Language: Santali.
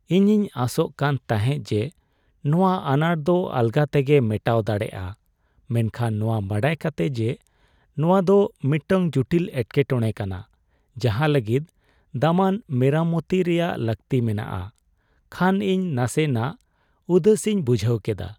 ᱤᱧᱤᱧ ᱟᱥᱚᱜ ᱠᱟᱱ ᱛᱟᱦᱮᱸᱜ ᱡᱮ, ᱱᱚᱣᱟ ᱟᱱᱟᱴ ᱫᱚ ᱟᱞᱜᱟ ᱛᱮᱜᱮ ᱢᱮᱴᱟᱣ ᱫᱟᱲᱮᱭᱟᱜᱼᱟ, ᱢᱮᱱᱠᱷᱟᱱ ᱱᱚᱣᱟ ᱵᱟᱰᱟᱭ ᱠᱟᱛᱮᱜ ᱡᱮ ᱱᱚᱣᱟᱫᱚ ᱢᱤᱫᱴᱟᱝ ᱡᱩᱴᱤᱞ ᱮᱴᱠᱮᱴᱚᱲᱮ ᱠᱟᱱᱟ ᱡᱟᱦᱟᱸ ᱞᱟᱹᱜᱤᱫ ᱫᱟᱢᱟᱱ ᱢᱮᱨᱟᱢᱚᱛᱤ ᱨᱮᱭᱟᱜ ᱞᱟᱹᱠᱛᱤ ᱢᱮᱱᱟᱜᱼᱟ, ᱠᱷᱟᱱ ᱤᱧ ᱱᱟᱥᱮ ᱱᱟᱜ ᱩᱫᱟᱹᱥᱤᱧ ᱵᱩᱡᱷᱟᱹᱣ ᱠᱮᱫᱟ ᱾